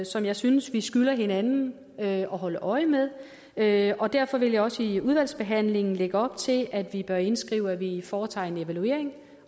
som jeg synes vi skylder hinanden at holde øje med med og derfor vil jeg også i udvalgsbehandlingen lægge op til at vi bør indskrive at vi foretager en evaluering